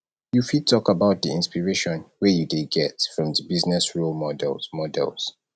you fit talk about di inspiration wey you dey get from di business role models models